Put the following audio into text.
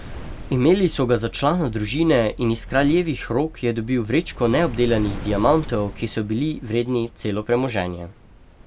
Imeli so ga za člana družine in iz kraljevih rok je dobil vrečko neobdelanih diamantov, ki so bili vredni celo premoženje.